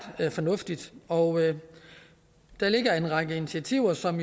fornuftigt og der ligger en række initiativer som